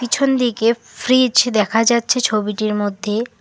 পিছনদিকে ফ্রিজ দেখা যাচ্ছে ছবিটির মধ্যে।